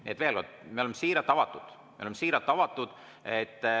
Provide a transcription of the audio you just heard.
Nii et veel kord: me oleme siiralt avatud.